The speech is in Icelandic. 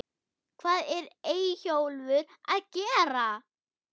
HVAÐ ER EYJÓLFUR AÐ GERA????